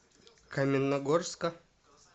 каменногорска